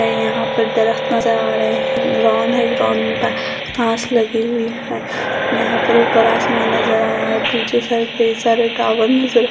यहाँ पर दरख्त नजर आ रहे है रोंड है रोड़ में घांस लगी हुई है यहाँ पर ऊपर आसमान नजर आ रा है पीछे साइड कई सारे टॉवर नजर --